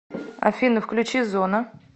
афина включи зона